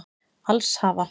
Alls hafa